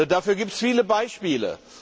Dafür gibt es viele Beispiele.